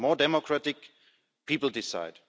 More democratic people decide.